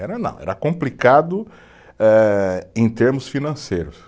Era não, era complicado eh em termos financeiros.